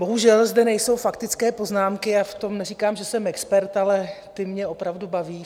Bohužel zde nejsou faktické poznámky a v tom neříkám, že jsem expert, ale ty mě opravdu baví.